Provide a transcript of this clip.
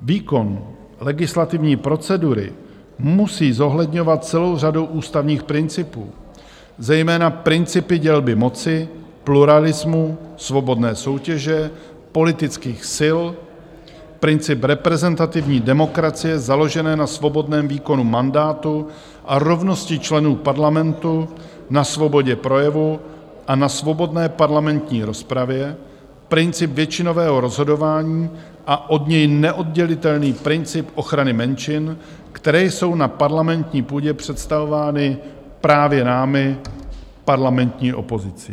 Výkon legislativní procedury musí zohledňovat celou řadu ústavních principů, zejména principy dělby moci, pluralismu, svobodné soutěže politických sil, princip reprezentativní demokracie založené na svobodném výkonu mandátu a rovnosti členů parlamentu, na svobodě projevu a na svobodné parlamentní rozpravě, princip většinového rozhodování a od něj neoddělitelný princip ochrany menšin, které jsou na parlamentní půdě představovány právě námi, parlamentní opozicí.